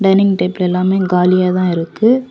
Dining table எல்லாமே காலியாதா இருக்கு.